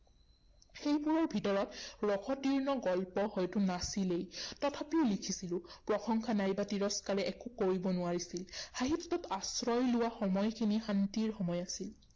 সেইবোৰৰ ভিতৰত ৰসতীৰ্ণ গল্প হয়তো নাছিলেই। তথাপিও লিখিছিলো। প্ৰশংসা নাইবা তিৰস্কাৰে একো কৰিব নোৱাৰিছিল। সাহিত্যত আশ্ৰয় লোৱা সময়খিনি শান্তিৰ সময় আছিল।